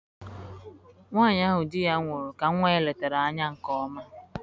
Nwanyị dị ya nwụrụ ahụ ka nwa ya letara anya nke ọma